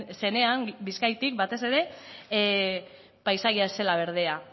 zenean bizkaitik batez ere paisaia ez zela berdea